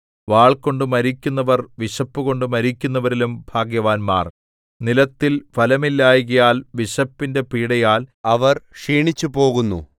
വാൾകൊണ്ട് മരിക്കുന്നവർ വിശപ്പുകൊണ്ട് മരിക്കുന്നവരിലും ഭാഗ്യവാന്മാർ നിലത്തിൽ ഫലമില്ലായ്കയാൽ വിശപ്പിന്റെ പീഡയാൽ അവർ ക്ഷീണിച്ചുപോകുന്നു